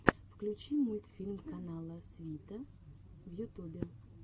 включи мультфильм канала свита в ютубе